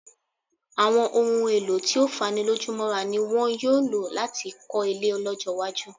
Àwọn ohun-èèlò tí ó fanilójúmọ́ra ni wọn yóò lò láti kọ́ ilé lọ́jọ́-iwájú.